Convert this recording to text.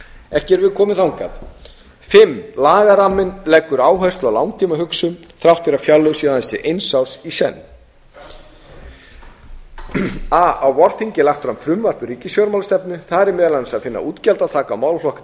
ekki erum við komin þangað fimmta lagaramminn leggur áherslu á langtímahugsun þrátt fyrir að fjárlög séu aðeins eins árs í senn a á vorþingi er lagt fram frumvarp um ríkisfjármálastefnu þar er meðal annars að finna útgjaldaþak á málaflokkum